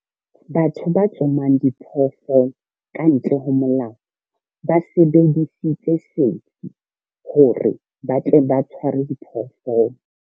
Batho ba tsomang diphoofolo ka ntle ho molao ba sebedisitse sefi hore ba tle ba tshwaare diphoofolo.